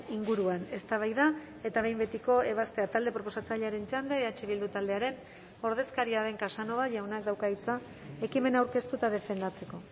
inguruan eztabaida eta behin betiko ebazpena talde proposatzailearen txanda eh bildu taldearen ordezkaria den casanova jaunak dauka hitza ekimena aurkeztu eta defendatzeko